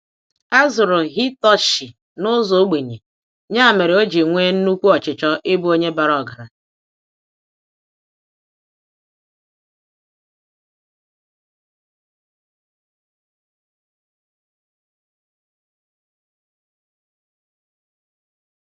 Azụrụ Hitoshi n'ụzọ ogbenye, nya mere oji nwé nnukwu ọchịchọ ịbụ Onye bara ọgaranya.